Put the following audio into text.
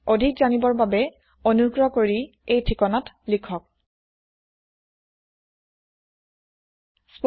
অধিক তথ্যৰ কাৰণে অনুগ্ৰহ কৰি স্পোকেন হাইফেন টিউটৰিয়েল ডট orgত খবৰ কৰক